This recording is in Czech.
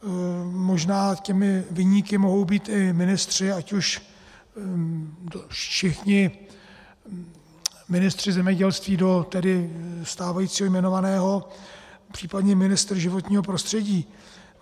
Možná těmi viníky mohou být i ministři, ať už všichni ministři zemědělství do tedy stávajícího jmenovaného, případně ministr životního prostředí.